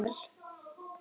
Njóttu vel.